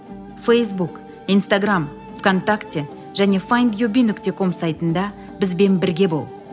фейсбук инстаграмм в контакте және файндюби нүкте ком сайтында бізбен бірге бол